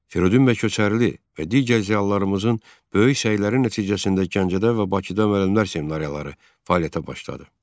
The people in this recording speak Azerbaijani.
Firidun bəy Köçərli və digər ziyalılarımızın böyük səyləri nəticəsində Gəncədə və Bakıda müəllimlər seminariyaları fəaliyyətə başladı.